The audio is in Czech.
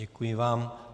Děkuji vám.